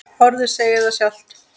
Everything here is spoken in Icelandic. Orðið segir það sjálft.